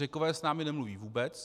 Řekové s námi nemluví vůbec.